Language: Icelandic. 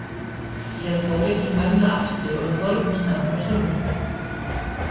Síðan fór ég til mömmu aftur og við horfðum saman á sjónvarpið.